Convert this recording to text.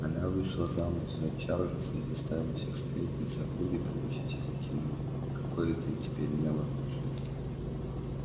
она вышла замуж за чарльза и заставила всех сплетниц округи прикусить языки но какое это теперь имело значение